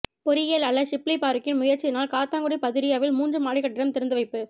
பொறியியலாளர் ஷிப்லி பாறுக்கின் முயற்சியினால் காத்தான்குடி பதுரியாவில் மூன்று மாடிக்கட்டடம் திறந்து வைப்பு